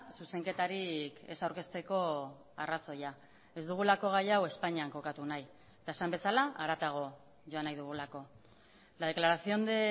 zuzenketarik ez aurkezteko arrazoia ez dugulako gai hau espainian kokatu nahi eta esan bezala haratago joan nahi dugulako la declaración de